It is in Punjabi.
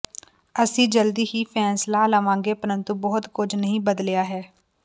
ਅਸੀਂ ਜਲਦੀ ਹੀ ਫ਼ੈਸਲਾ ਲਵਾਂਗੇ ਪ੍ਰੰਤੂ ਬਹੁਤ ਕੁਝ ਨਹੀਂ ਬਦਲਿਆ ਹੈ